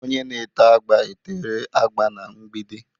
Onye na-ete agba etere agba n'mgbidi.